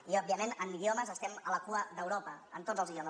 i òbviament en idiomes estem a la cua d’europa en tots els idiomes